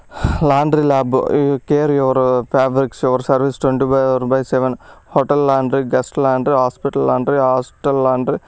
Laundry lab . Care your fabrics our service twenty four by seven . Hotel laundry guest laundry hospital laundry hostel laundry --